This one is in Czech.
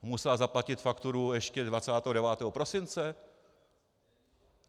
Musela zaplatit fakturu ještě 29. prosince?